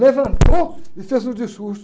Levantou e fez um discurso.